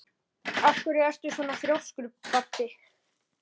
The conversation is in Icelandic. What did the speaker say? Af hverju ertu svona þrjóskur, Baddi?